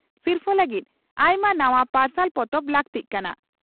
ᱥᱤᱨᱯᱷᱟᱹ ᱞᱟᱹᱜᱤᱫ ᱟᱭᱢᱟ ᱱᱟᱣᱟ ᱯᱟᱨᱥᱟᱞ ᱯᱚᱛᱚᱵ ᱞᱟᱹᱠᱛᱤᱜ ᱠᱟᱱᱟ ᱾